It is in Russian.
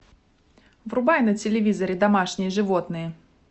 врубай на телевизоре домашние животные